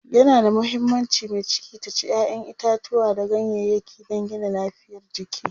yana da muhimmanci mai ciki ta ci ƴaƴan itatauwa da ganyayaki dan Gina lafiyar jiki